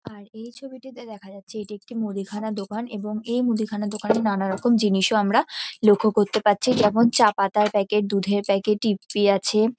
আর এই ছবিটিতে দেখা যাচ্ছে এটি একটি মুদিখানা দোকান। এবং এই মুদিখানা দোকানে নানারকম জিনিসও আমরা লক্ষ্য করতে পারছি। যেমন চা পাতার প্যাকেট দুধের প্যাকেট টিপ্পি আছে।